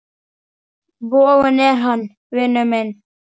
Vogun er hann, vinur minn.